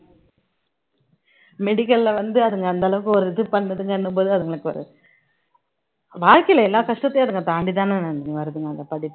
medical ல வந்து அதுங்க அந்த அளவுக்கு ஒரு இது பண்ணுதுங்கும்போது அதுங்களுக்கு ஒரு வாழ்க்கையில எல்லா கஷ்டத்தையும் அதுங்க தாண்டிதானே நந்தினி வருதுங்க அந்த படிப்பு